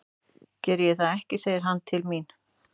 Geri ég það ekki, segir hann til mín.